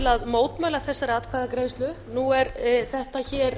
mótmæla þessari atkvæðagreiðslu nú er þetta hér